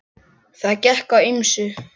Það gekk á ýmsu.